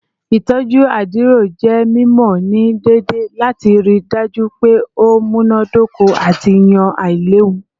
Itọju adiro jẹ mimọ ni deede lati rii daju pe o munadoko ati yan ailewu